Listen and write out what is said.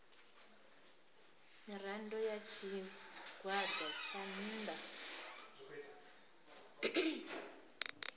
mirado ya tshigwada tsha nnda